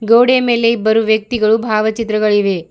ಗೋಡೆ ಮೇಲೆ ಇಬ್ಬರು ವ್ಯಕ್ತಿಗಳು ಭಾವಚಿತ್ರಗಳಿವೆ.